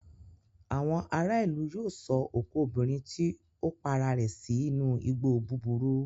Àwọn ará-ìlú yóò sọ òkú obìnrin tí ó para rẹ̀ sínú igbó búburú.